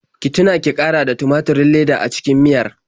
Ki tuna ki ƙara da tumaturin leda a cikin miyar.